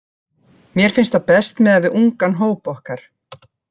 Mér finnst það best miðað við ungan hóp okkar.